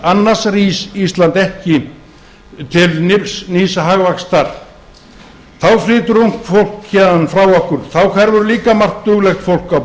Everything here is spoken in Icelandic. annars rís ísland ekki til nýs hagvaxtar þá flytur ungt fólk héðan frá okkur þá hverfur líka margt duglegt fólk á